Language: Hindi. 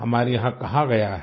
हमारे यहाँ कहा गया है